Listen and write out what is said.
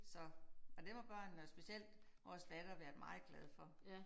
Så og det var børnene og specielt vores datter været meget glad for